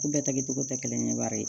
U bɛɛ ta kɛcogo tɛ kelen ye baara ye